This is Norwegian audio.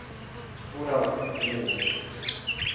Toralf Brevik